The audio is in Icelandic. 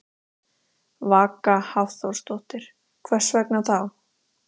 Vaka Hafþórsdóttir: Hvers vegna þá?